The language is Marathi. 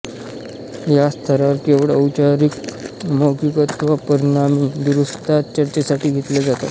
या स्तरावर केवळ औपचारिक मौखिक अथवा परिणामी दुरुस्त्याच चर्चेसाठी घेतल्या जातात